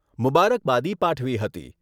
મુબારકબાદી પાઠવી હતી.